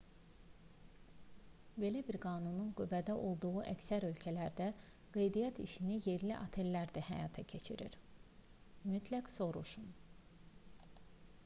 belə bir qanunun qüvvədə olduğu əksər ölkələrdə qeydiyyat işini yerli otellər də həyata keçirir mütləq soruşun